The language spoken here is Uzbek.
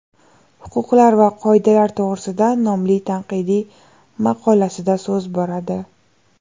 huquqlar va qoidalar to‘g‘risida nomli tanqidiy maqolasida so‘z boradi.